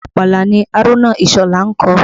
Orin àpàlà ni Haruna Isola ń kọ